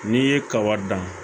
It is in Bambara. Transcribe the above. N'i ye kaba dan